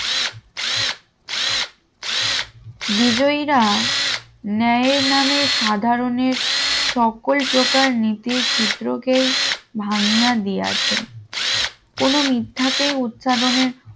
বিজয়ীরা, ন্যায়ের নামে সাধারণের সকল প্রকার নীতির সূত্র কেই ভাঙ্গিয়া দেয়া আছে কোন মিথ্যাকেই উচ্চারণের